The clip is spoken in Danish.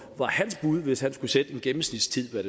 var hans bud hvis han skulle sætte en gennemsnitstid for